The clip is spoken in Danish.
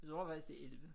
Jeg tror faktisk det er 11